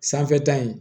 Sanfɛta in